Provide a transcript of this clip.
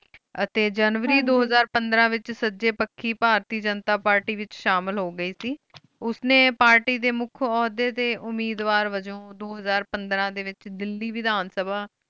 ਆਯ ਟੀ ਜਾਨੁਆਰੀ ਦੋ ਹਜ਼ਾਰ ਪੰਦ੍ਰ ਵਿਚ ਸਜੀ ਪਾਖੀ ਭਾਰਤੀ ਜਨਤਾ ਪਾਰਟੀ ਵਿਚ ਸ਼ਾਮਿਲ ਹੋ ਗਏ ਸੇ ਓਸ ਨੀ ਪਾਰਟੀ ਮੁਖ ਓਹਦੀ ਦੇ ਓਮਿਦ੍ਵਾਰ ਵਜੋ ਦੋ ਹਜ਼ਾਰ ਪੰਦ੍ਰ ਦੇ ਵਿਚ ਦੇਹਲੀ ਵਿਦਾਨ ਸਭਾ